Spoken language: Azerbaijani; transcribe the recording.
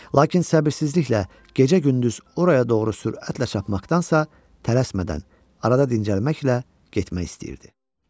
Lakin səbirsizliklə gecə-gündüz oraya doğru sürətlə çapmaqdansa, tələsmədən arada dincəlməklə getmək istəyirdi.